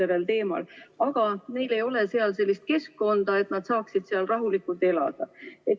Nende sõnul ei ole neil seal sellist keskkonda, et nad saaksid seal rahulikult elada.